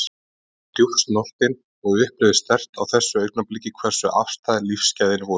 Ég var djúpt snortin og upplifði sterkt á þessu augnabliki hversu afstæð lífsgæði væru.